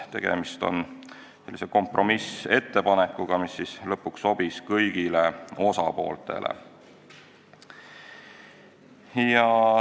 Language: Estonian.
Tegemist on kompromissettepanekuga, mis lõpuks sobis kõigile osapooltele.